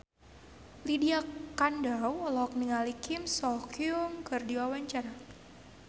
Lydia Kandou olohok ningali Kim So Hyun keur diwawancara